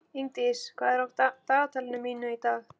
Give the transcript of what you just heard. Ingdís, hvað er á dagatalinu mínu í dag?